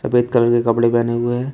सफेद कलर के कपड़े पहने हुए है।